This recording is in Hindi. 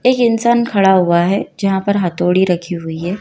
एक इंसान खड़ा हुआ है जहां पर हथौड़ी रखी हुई है।